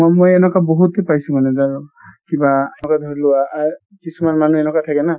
মই এনেকুৱা বহুতে পাইছো মানে যাৰ কিবা ধৰি লোৱা অ কিছুমান মানুহ এনেকুৱা থাকে না